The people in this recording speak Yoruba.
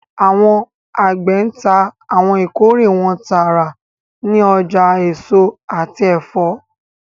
Awọn agbe ńta awọn ikore wọn taara ni ọja eso ati ẹfọ